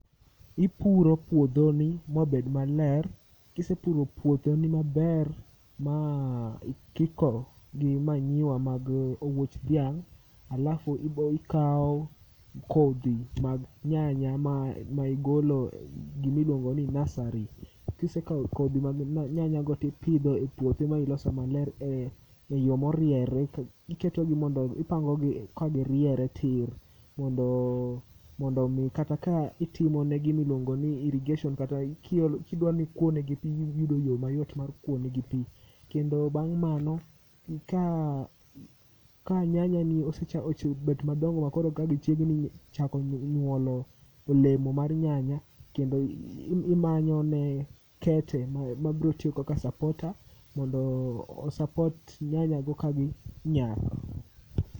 Ipuro puodho ni mobed maler, kisepuro puodho ni maber ma ikiko gi manyiwa mag owuoch dhiang'. Alafu ibokawo kodhi mag nyanya ma igolo gimiluongo ni nasari. Kisekawo kodhi mag nyanya go e puothi ma iloso maler e yo moriere, iketogi mondo ipangogi ka giriere tir. Mondo mondo mi kata ka itimone gimiluongo ni irrigation kata iki kidwani ikuonegi pi iyudo yo mayot mar kuonegi pi. Kendo bang' mano, ka nyanya ni osebet madongo makoro ka gichiegni chako nyuolo olemo mar nyanya kendo imanyo ne kete mabrotiyo kaka supporter, Mondo osapot nyanya go ka gi nyak.